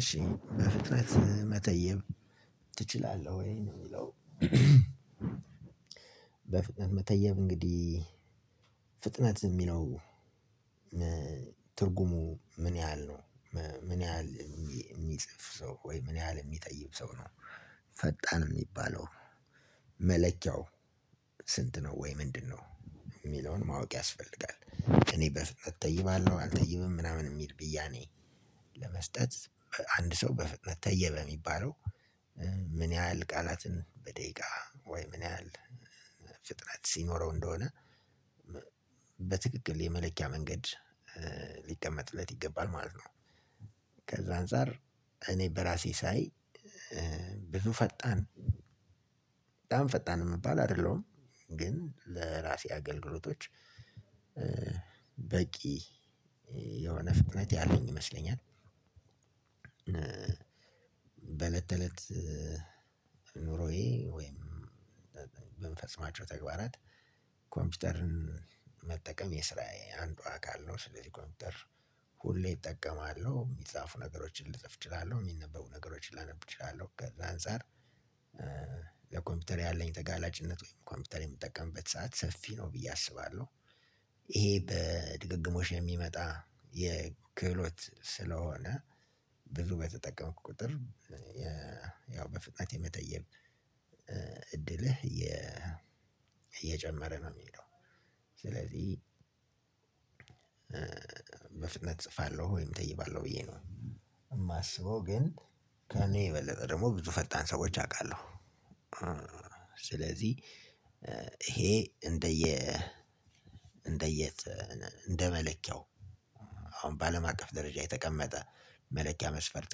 እሺ በፍጥነት መተየብ ትችላለህ ወይ ነው የሚለው? በፍጥነት መተየብ እንግዲህ ፍጥነት የሚለው ትርጉሙ ምን ያህል ነው? ምን ያህል የሚጽፍ ሰው ወይ ምን ያህል የሚጠይቅ ሰው ነው? ፈጣን የሚባለው መለኪያው ስንት ነው ወይ ምንድነው? ማወቅ ያስፈልጋል እኔ በፍጥነት እተይባለሁ አልተይብም ምናምን የሚል ብያኔ። ለመስጠት አንድ ሰው በፍጥነት ተየበ የሚባለው። ምን ያህል ቃላትን በደቂቃ ወይ ምን ያህል ፍጥነት ሲኖረው እንደሆነ። በትክክል የመለኪያ መንገድ ሊቀመጥለት ይገባል ማለት ነው። ከዛ አንፃር እኔ በእራሴ ሳይ ብዙ ፈጣን በጣም ፈጣን የምባል አደለሁም። ለእራሴ አገልግሎቶች በቂ የሆነ ፍጥነት ያለኝ ይመስለኛል። በእለት ተእለት ዝም ብሎ ይሄ ወይም ምንፈፅማቸው ተግባራት ኮምፒውተርን መጠቀም የስራየ አንዱ አካል ነው። ስለዚህ ኮምፒውተር ሁሌ እጠቀማለሁ የሚጻፉ ነገሮችን ልጽፍ እችላለሁ የሚነበቡ ነገሮችን ላነብ እችላለሁ። ከዛ አንፃር ለኮምፒውተር ያለኝ ተጋላጭነት ወይም ኮምፒውተር የምጠቀምበት ሰዓት ሰፊ ነው ብዬ አስባለሁ። ይሄ በድግግሞሽ የሚመጣ የክብሎት ስለሆነ ብዙ በተጠቀመክ ቁጥር ያው በፍጥነት የመተየብ እድልህ እየ እየጨመረ ነው የሚሄደው። ስለዚህ እጽፋለሁ ወይም እተይባለሁ ብዬ ነው። የማስበው ግን ከእኔ የበለጠ ደግሞ ብዙ ፈጣን ሰዎች አውቃለሁ። ስለዚህ ይሄ እንደየ እንደ እንደ መለኪያው አሁን በአለም አቀፍ ደረጃ የተቀመጠ መለኪያ መስፈርት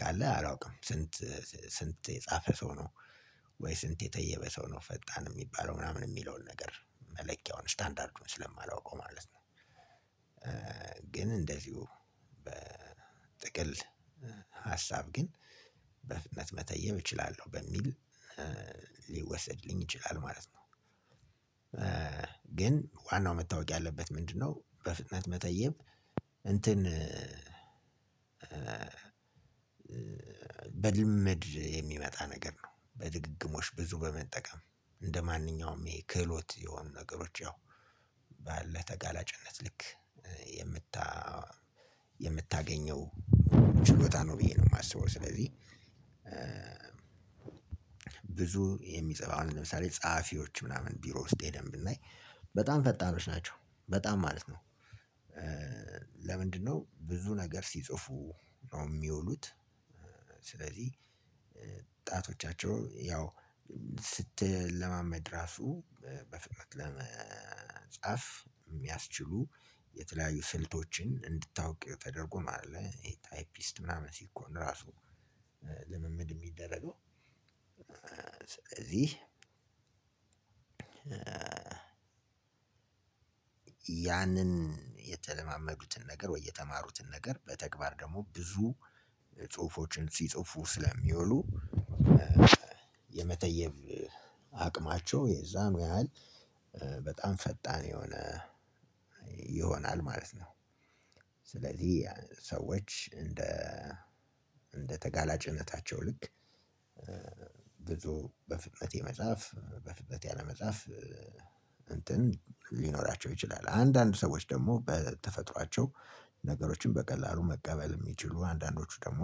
ካለ አላውቅም። ስንት ስንት የጻፈ ሰው ነው? ወይ ስንት የተየበ ሰው ነው ፈጣን የሚባለው ምናምን የሚለውን ነገር መለኪያውን ስታንዳርዱን ስለማላውቀው ማለት ነው። ግን እንደዚሁ በጥቅል ሀሳብ ግን በፍጥነት መተየም እችላለሁ በሚል ሊወሰድልኝ ይችላል ማለት ነው። ግን ዋናው መታወቅ ያለበት ምንድነው? በፍጥነት መተየብ እንትን በልምድ የሚመጣ ነገር ነው። በድግግሞሽ ብዙ በመጠቀም እንደማንኛውም ይሄ ክህሎት የሆኑ ነገሮች ያው ባለህ ተጋላጭነት ልክ የምታ የምታገኘው ችሎታ ነው ብዬ ነው የማስበው። ስለዚህ ብዙ የሚጽፍ አሁን ለምሳሌ ጸሀፊዎች ምናምን ቢሮ ስቴዲየም ብናይ በጣም ፈጣኖች ናቸው። በጣም ማለት ነው። ለምንድነው ብዙ ነገር ሲጽፉ ነው የሚውሉት? ስለዚህ ጣቶቻቸው ያው ስትለማመድ ራሱ በፍጥነት ለመጻፍ የሚያስችሉ የተለያዩ ስልቶችን እንድታውቅ ተደርጎ ማለት ነው። ይሄ ታይፒስድ ምናምን ሲኮን ራሱ ልምምድ የሚደረገው። ስለዚህ ያንን የተለማመዱትን ነገር ወይ የተማሩትን ነገር በተግባር ደግሞ ብዙ ሲጽፉ ስለሚውሉ የመተየብ አቅማቸው የዛኑ ያህል በጣም ፈጣን የሆነ ይሆናል ማለት ነው። ሰዎች እንደ እንደ ተጋላጭነታቸው ልክ በፍጥነት የመጻፍ በፍጥነት ያለ መጻፍ እንትን ሊኖራቸው ይችላል። አንዳንድ ሰዎች ደግሞ በተፈጥሯቸው ነገሮችን በቀላሉ መቀበል የሚችሉ አንዳንዶቹ ደግሞ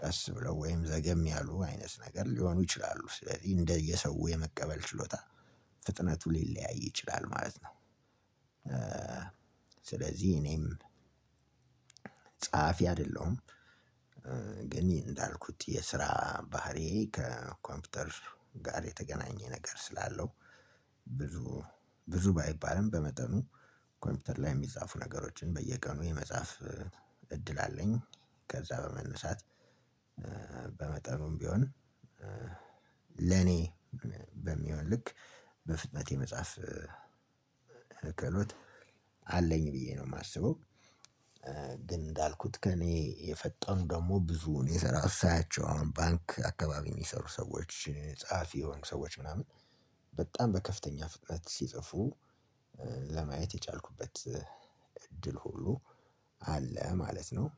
ቀስ ብለው ወይም ዘገም ያሉ አይነት ነገር ሊሆኑ ይችላሉ። ስለዚህ እንደየሰው የመቀበል ችሎታ ፍጥነቱ ሊለያይ ይችላል ማለት ነው። ስለዚህ እኔም ጸሐፊ አይደለሁም። ግን እንዳልኩት የስራ ባህሪዬ ከኮምፒውተር ጋር የተገናኘ ነገር ስላለው ብዙ ብዙ ባይባልም በመጠኑ ኮምፒውተር ላይ የሚጻፉ ነገሮችን በየቀኑ የመጻፍ እድል አለኝ። ከዛ በመነሳት በመጠኑም ቢሆን ለኔ በሚሆን ልክ በፍጥነት የመጻፍ ክህሎት አለኝ ብዬ ነው የማስበው። እንዳልኩት ከእኔ የፈጠሩኝ ደግሞ ብዙውን የሰራሁት ሳያቸው አሁን ባንክ አካባቢ የሚሰሩ ሰዎች ጸሐፊ የሆኑ ሰዎች ምናምን በጣም በከፍተኛ ፍጥነት ሲጽፉ ለማየት የቻልኩበት እድል ሁሉ አለ ማለት ነው።